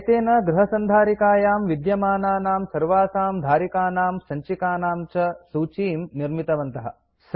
एतेन गृह सन्धारिकायां विद्यमानानां सर्वासां धारिकानां सञ्चिकानां च सूचीं निर्मितवन्तः